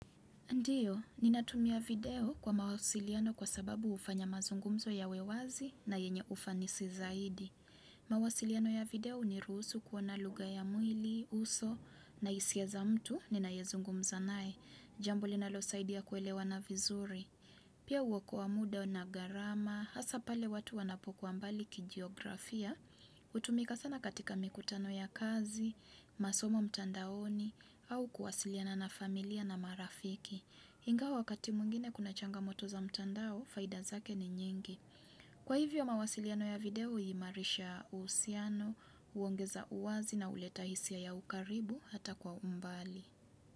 Ndio, ninatumia video kwa mawasiliano kwa sababu hufanya mazungumzo yawe wazi na yenye ufanisi zaidi. Mawasiliano ya video huniruhusu kuoana lugha ya mwili, uso, na hisia za mtu, ninayezungumza nae, jambo linalosaidia kuelewana vizuri. Pia huokoa muda na gharama, hasa pale watu wanapokuwa mbali kijiografia, hutumika sana katika mikutano ya kazi, masomo mtandaoni, au kuwasiliana na familia na marafiki. Ingawa wakati mwingine kuna changamoto za mtandao, faida zake ni nyingi. Kwa hivyo mawasiliano ya video, huimarisha uhusiano, huongeza uwazi na huleta hisia ya ukaribu hata kwa umbali.